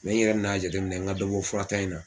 n yɛrɛ nan'a jate minɛ n ka dɔ bɔ fura ta in na.